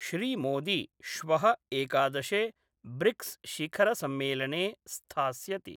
श्रीमोदी श्व: एकादशे ब्रिक्सशिखरसम्मेलने स्थास्यति।